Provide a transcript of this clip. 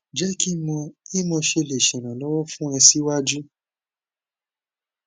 je ki mo i mo se le seranlowo fun o si waju